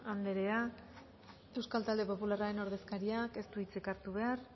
anderea euskal talde popularraren ordezkariak ez du hitzik hartu behar